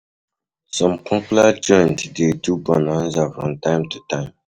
Some popular joints de do bonaza from time to time